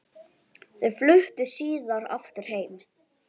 Þau fluttu síðar aftur heim.